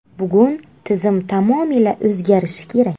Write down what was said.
Bugun tizim tamomila o‘zgarishi kerak.